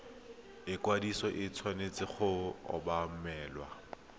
ikwadiso e tshwanetse go obamelwa